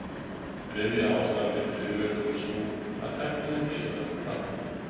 Þriðja ástæðan fyrir hryðjuverkum er sú, að tækninni fleygir ört fram.